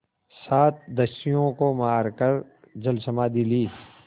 सात दस्युओं को मारकर जलसमाधि ली